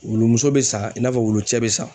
Wulu muso be san i n'a fɔ wolo cɛ be san.